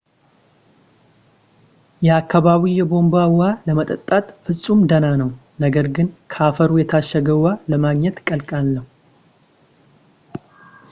የአካባቢው የቧንቧ ውሃ ለመጠጣት ፍጹም ደህና ነው ነገር ግን ከፈሩ የታሸገ ውሃ ለማግኘት ቀላል ነው